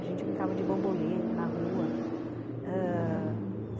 A gente brincava de bambolê na rua, ãh...